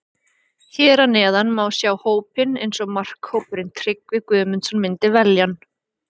Hér að neðan má sjá hópinn eins og markahrókurinn Tryggvi Guðmundsson myndi velja hann.